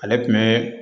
Ale tun bɛ